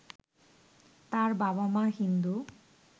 তার বাবা মা হিন্দু